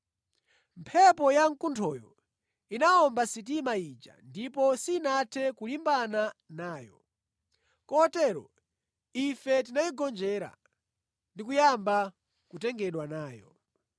Mphepo yamkunthoyo inawomba sitima ija ndipo sinathe kulimbana nayo, kotero ife tinayigonjera ndi kuyamba kutengedwa nayo.